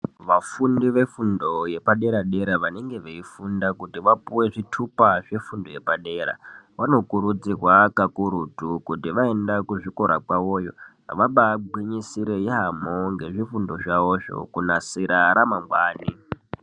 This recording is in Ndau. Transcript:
Vafundi vefundo yepadera-dera vanenge veifunda kuti vapuwe zvitupa zvefundo yepadera vanokurudzirwa kakurutu kuti vaenda kuzvikora kwavoyo vabagwinyisire yaamho ngezvifundo zvavozvo kunasira ramangwani.